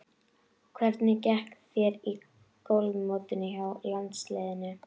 Hvernig gekk þér í golfmótinu hjá landsliðinu?